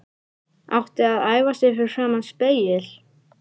Átti að æfa sig fyrir framan spegil.